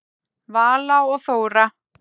Vala og Þóra.